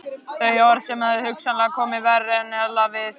Þau orð höfðu hugsanlega komið verr en ella við